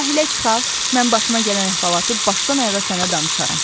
Sahilə çıxaq, mən başıma gələn əhvalatı başdan ayağa sənə danışaram.